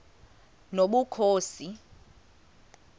nobukhosi